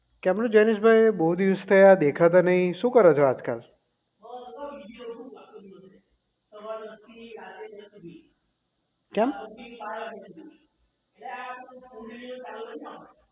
કેમ નું જૈનિશ ભાઈ દેખાતા નથી બહુ દિવસ થયા શું કરો છો આજકાલ કેમ